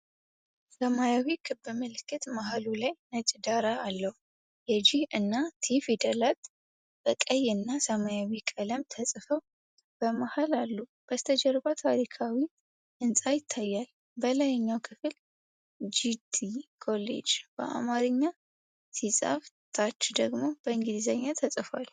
ሰማያዊ ክብ ምልክት መሀሉ ላይ ነጭ ዳራ አለው። የ"ጂ" እና "ቲ" ፊደላት በቀይ እና ሰማያዊ ቀለም ተፅፈው በመሀል አሉ፤ በስተጀርባ ታሪካዊ ህንጻ ይታያል። በላይኛው ክፍል "ጂቲ ኮሌጅ" በአማርኛ ሲጻፍ፣ ታች ደግሞ በእንግሊዝኛ ተጽፏል።